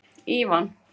Ívan